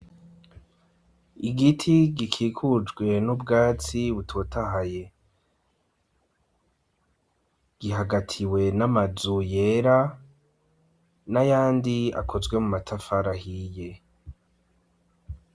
Igiti gikikujwe n'ubwatsi butotahaye. Gihagatiwe n'amazu yera n'ayandi akozwe mu matafari ahiye.